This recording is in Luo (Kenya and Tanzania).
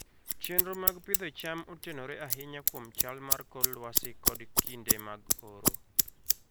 Chenro mag pidho cham otenore ahinya kuom chal mar kor lwasi kod kinde mag oro.